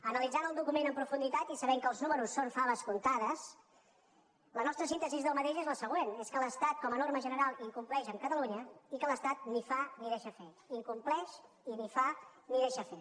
analitzant el document en profunditat i sabent que els números són faves comptades la nostra síntesi d’aquest és la següent és que l’estat com a norma general incompleix amb catalunya i que l’estat ni fa ni deixa fer incompleix i ni fa ni deixa fer